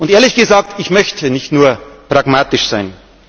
Ehrlich gesagt, ich möchte nicht nur pragmatisch sein.